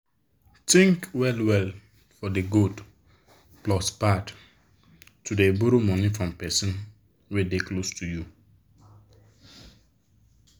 think well well for de good plus bad to dey borrow money from person wey dey close to you.